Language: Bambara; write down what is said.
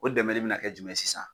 O dɛmɛ de bɛna kɛ jumɛn sisan.